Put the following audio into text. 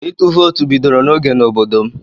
Ịtụ vootu bidoro n'oge n'obodo m.